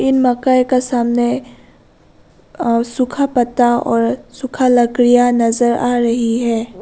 इन मकई का सामने अह सूखा पत्ता और सूखा लकड़ियां नजर आ रही है।